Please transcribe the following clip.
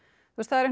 það er